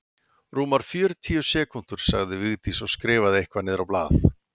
Rúmar fjörutíu sekúndur sagði Vigdís og skrifaði eitthvað niður á blað.